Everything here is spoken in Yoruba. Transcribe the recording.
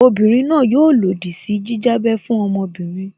Obinrin náà yóò lòdì sí jíjábẹ́ fún ọmọbìnrin